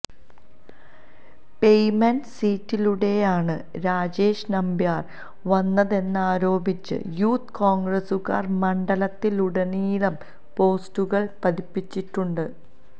payment സീറ്റിലൂടെയാണ് രാജേഷ് നമ്പ്യാര് വന്നതെന്നരോപിച്ച് youth കോണ്ഗ്രസുകാര് മണ്ഡലത്തിലുടനീളം പോസ്റ്ററുകള് പതിപ്പിച്ചിട്ടുണ്ട്